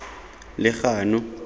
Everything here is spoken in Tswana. legano